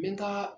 N bɛ taa